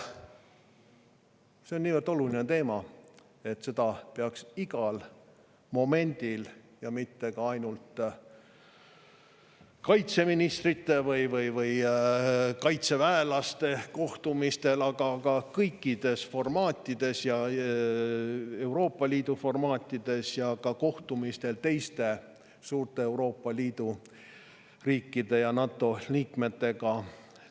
See on niivõrd oluline teema, et seda peaks igal momendil ja mitte ainult kaitseministrite või kaitseväelaste kohtumistel, vaid kõikides formaatides, Euroopa Liidu formaatides ja ka kohtumistel teiste, suurte Euroopa Liidu riikide ja NATO liikmetega.